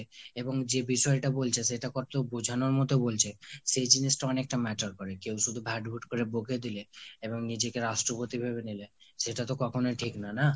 এবং যে বিষয়টা বলছে সেটা কতদূর বোঝানোর মতো বলছে সেই জিনিসটা অনেকটা matter করে। কেউ শুধু ভ্যাটভুট করে বকে দিলে এবং নিজেকে রাষ্ট্রপতি ভেবে নিলে সেটা তো কখনোই ঠিক নয় না?